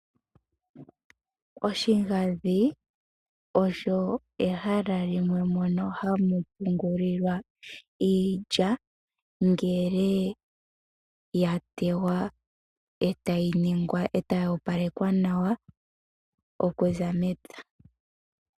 Oshigadhi osho ehala mono hamu pungulilwa iilya ngele yatewa eta yi opalekwa nawa okuza mepya.